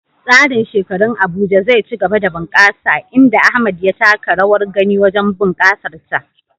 Tsarin shekarun Abuja zai ci gaba da bunƙasa, inda Ahmad ya taka rawar gani wajen bunƙasar ta.